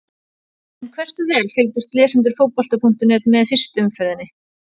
En hversu vel fylgdust lesendur Fótbolta.net með fyrstu umferðinni?